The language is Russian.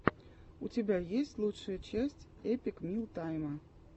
у тебя есть лучшая часть эпик мил тайма